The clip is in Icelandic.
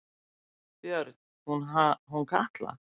Björn: Hún Katla?